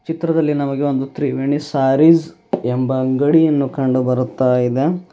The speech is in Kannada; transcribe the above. ಚಿತ್ರದಲ್ಲಿ ನಮಗೆ ಒಂದು ತ್ರಿವೇಣಿ ಸಾರಿಸ್ ಎಂಬ ಅಂಗಡಿಯನ್ನು ಕಂಡು ಬರುತ್ತಾ ಇದೆ.